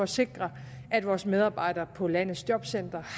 sikre at vores medarbejdere på landets jobcentre